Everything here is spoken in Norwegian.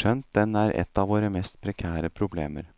skjønt den er et av våre mest prekære problemer.